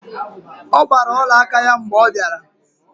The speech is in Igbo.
Ọ gbara olaaka ya mgbe ọ bịara